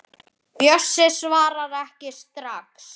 Séra Haukur hringdi í mig.